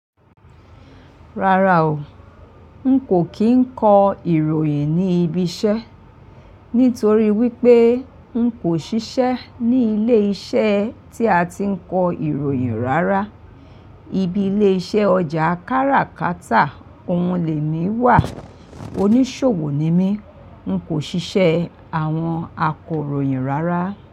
Rárá o, n kò kí n kọ ìròyìn ní ibi iṣẹ́ nítorí wípé n kò ṣiṣẹ́ ní ilé iṣẹ́ tí a ti ń kọ ìròyìn rárá. Ibile iṣẹ́ ọjà káràkátà, òun le mi wà. Oníṣòwò ni mí, n kò ṣiṣẹ́ àwọn akọròyìn rárá.